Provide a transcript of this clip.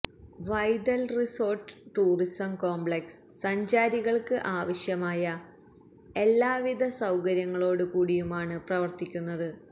Vaithal resort tourism complex സഞ്ചാരികള്ക്ക് ആവശ്യമായ എല്ലവിധ സൌകര്യങ്ങളോട് കൂടിയുമാണ് പ്രവര്ത്തിക്കുന്നത്